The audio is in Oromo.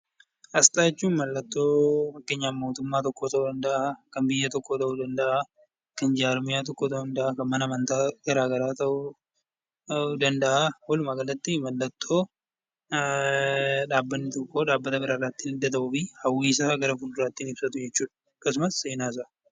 Asxaa jechuun fakkeenyaaf mallattoo mootummaa tokkoo ta'uu danda'a. Kan biyya tokkoo ta'uu danda'a. Kan jarmiyaa, mana amantaa ta'uu danda'a. Walumaa galatti mallattoo dhaabbanni tokko dhaabbata biraarraa ittiin adda ta'uu fi hawwii fi seenaa isaa gara fuulduraa ittiin ibsatu jechuudha.